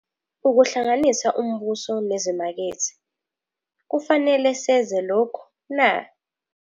Ukuhlanganisa uMbuso nezimakethe - kufanele seze lokhu, na.